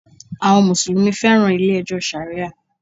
Àwọn Mùsùlùmí féràn ilé ẹjọ́ Sharia.